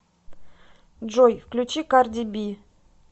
джой включи карди би